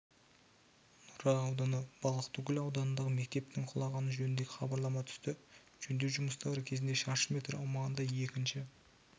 нұра ауданы балықтыкөл ауданындағы мектептің құлағаны жөнінде хабарлама түсті жөндеу жұмыстары кезінде шаршы метр аумағында екінші